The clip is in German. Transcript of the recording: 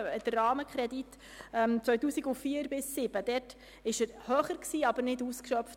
Der Rahmenkredit 2004–2007 war höher, wurde jedoch nicht ausgeschöpft.